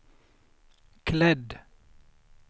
klädd